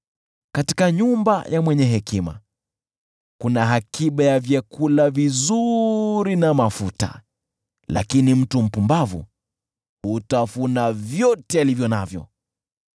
Katika nyumba ya mwenye hekima kuna akiba ya vyakula vizuri na mafuta, lakini mtu mpumbavu hutafuna vyote alivyo navyo.